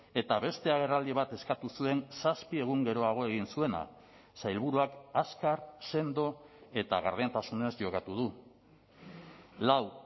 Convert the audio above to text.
eta beste agerraldi bat eskatu zuen zazpi egun geroago egin zuena sailburuak azkar sendo eta gardentasunez jokatu du lau